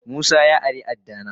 Musa ya ari adda dina.